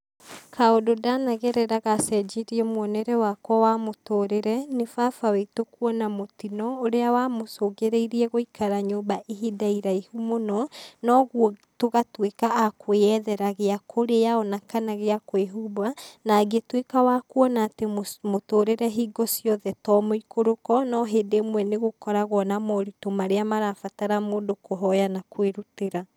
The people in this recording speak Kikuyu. Kaũndũ ndanagerera gacenjirie muonere wakwa wa mũtũrĩre, nĩ baba witũ kuona mũtino ũrĩa wa mũcũngĩrĩirie gũikara nyũmba ihinda iraihu mũno, na ũguo tũgatuĩka a kũĩyethera gĩa kũrĩa o na, kana gĩa kwĩhumba na ngĩtuĩka wa kuona atĩ mũtũrĩre hĩngo ciothe to mũikũrũko no hĩndĩ ĩmwe nĩgũkoragwo na moritũ marĩa mabataraga mũndũ kũhoya na kwĩrutĩra.